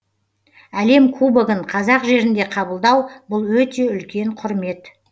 әлем кубогын қазақ жерінде қабылдау бұл өте үлкен құрмет